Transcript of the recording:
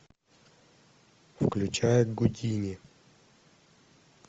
включай гудини